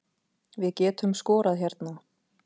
Við getum skorað hérna